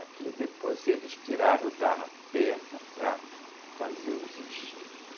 Aqui depois eles tiraram da perna para fazer os enxertos.